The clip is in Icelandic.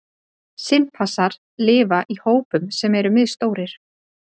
Simpansar lifa í hópum sem eru misstórir.